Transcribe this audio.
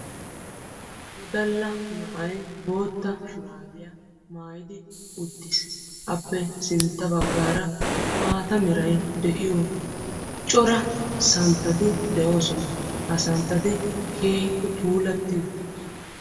Wodalla na'ay boottaa shurabiyaa maayidi uttiis. Appe sintta baggaara maataa Meray de'iyo cora santtatti deosona. Ha santtatti keehippe puulatti uttidosona.